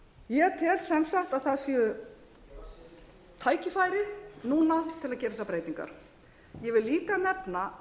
ég tel sem sagt að núna sé tækifærið til að gera þessar breytingar ég vil líka nefna